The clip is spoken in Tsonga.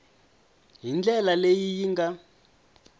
hi ndlela leyi yi nga